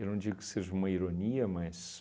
Eu não digo que seja uma ironia, mas...